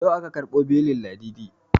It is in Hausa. Yau aka ƙarbo belin ladidi